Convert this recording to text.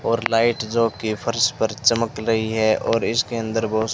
और लाइट जो की फर्श पर चमक रही है और इसके अंदर बहोत सी--